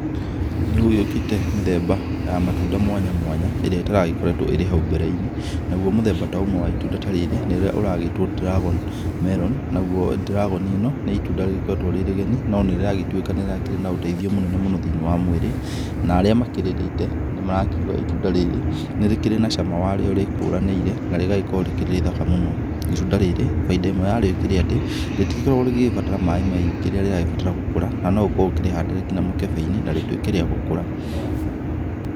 Nĩ gũgĩũkĩte mĩthemba ya matunda mwanya mwanya ĩrĩa ĩtaragĩkoretwo ĩrĩ hau mbere-inĩ, naguo mũthemba ta ũmwe wa itunda ta rĩrĩ nĩ ũrĩa ũragĩtwo dragon melon. Naguo dragon ĩno nĩ itunda rĩgĩkoretwo rĩ rĩgeni no nĩ rĩragĩtuĩka nĩ rĩkĩrĩ na ũteithio mũno thĩ-inĩ wa mwĩrĩ, na arĩa makĩrĩrĩte nĩ marakiuga itunda rĩrĩ nĩ rĩkĩrĩ na cama warĩo rĩkũranĩire, na rĩgagĩkorwo rĩkĩrĩ rĩthaka mũno. Itunda rĩrĩ baida ĩmwe yarĩo ĩkĩrĩ atĩ, rĩtigĩkoragwo rĩgĩgĩbatara maĩ maingĩ rĩrĩa rĩrabatara gũkũra no ũkorwo ũkĩrĩhandĩra nginya mũkebe-inĩ na rĩtuĩke rĩa gũkũra.